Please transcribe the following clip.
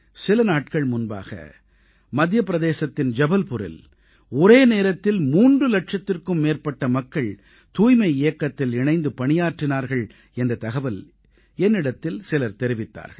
சில நாட்கள் முன்பாக மத்தியபிரதேசத்தின் ஜபல்புரில் ஒரே நேரத்தில் 3 இலட்சத்திற்கும் மேற்பட்ட மக்கள் தூய்மை இயக்கத்தில் இணைந்து பணியாற்றினார்கள் என்ற தகவல் என்னிடத்தில் சிலர் தெரிவித்தார்கள்